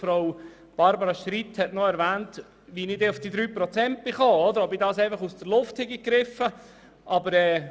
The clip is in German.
Barbara Streit hat noch gefragt, wie ich denn auf die 3 Prozent gekommen sei, und ob ich diese einfach aus der Luft gegriffen hätte.